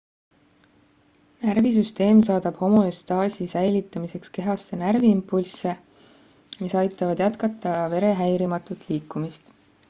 närvisüsteem saadab homöostaasi säilitamiseks kehasse närviimpulsse mis aitavad jätkata vere häirimatut liikumist